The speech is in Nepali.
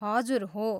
हजुर, हो।